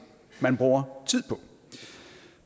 man bruger tid på